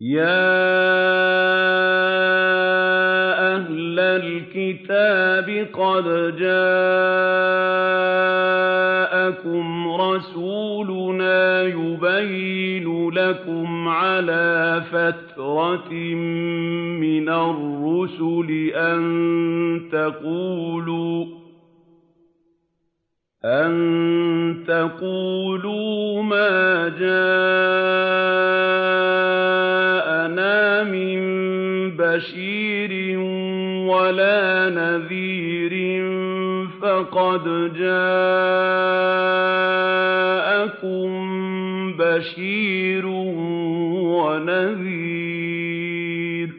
يَا أَهْلَ الْكِتَابِ قَدْ جَاءَكُمْ رَسُولُنَا يُبَيِّنُ لَكُمْ عَلَىٰ فَتْرَةٍ مِّنَ الرُّسُلِ أَن تَقُولُوا مَا جَاءَنَا مِن بَشِيرٍ وَلَا نَذِيرٍ ۖ فَقَدْ جَاءَكُم بَشِيرٌ وَنَذِيرٌ ۗ